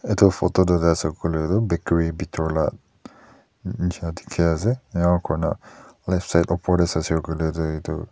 etu photo tu sai le koile tu bakery bethor laga jisna dekhi ase aru koi na left side opor te sai koile tu etu--